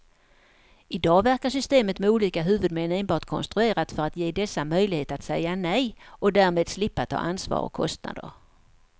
I dag verkar systemet med olika huvudmän enbart konstruerat för att ge dessa möjlighet att säga nej och därmed slippa ta ansvar och kostnader.